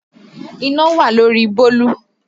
Iná wà lórí bólú